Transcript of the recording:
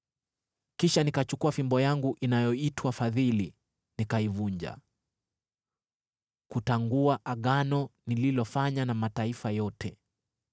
Kisha nikachukua fimbo yangu inayoitwa Fadhili nikaivunja, kutangua Agano nililofanya na mataifa yote.